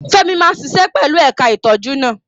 Femi máa ṣiṣẹ́ pẹ̀lú ẹ̀ka ìtọ́jú náà.